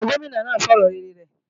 Ǹjẹ́ Gómìnà náà sọ ọ̀rọ̀ rere rẹ̀?